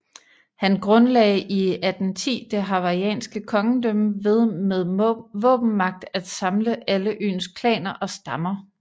Han grundlagde i 1810 det hawaiianske kongedømme ved med våbenmagt at samle alle øens klaner og stammer